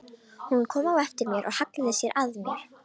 Hún kom á eftir mér og hallaði sér að mér.